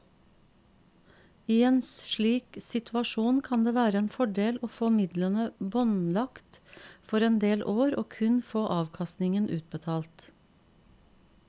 I en slik situasjon kan det være en fordel å få midlene båndlagt for en del år og kun få avkastningen utbetalt.